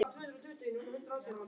Móa, hvernig er dagskráin í dag?